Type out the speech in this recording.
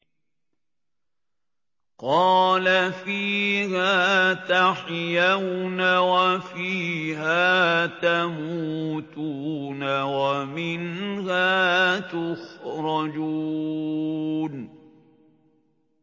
قَالَ فِيهَا تَحْيَوْنَ وَفِيهَا تَمُوتُونَ وَمِنْهَا تُخْرَجُونَ